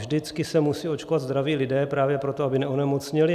Vždycky se musí očkovat zdraví lidé právě proto, aby neonemocněli.